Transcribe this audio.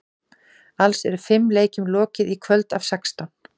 Alls eru fimm leikjum lokið í kvöld af sextán.